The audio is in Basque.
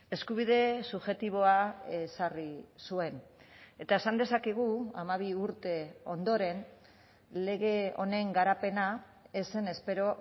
eskubide subjektiboa ezarri zuen eta esan dezakegu hamabi urte ondoren lege honen garapena ez zen espero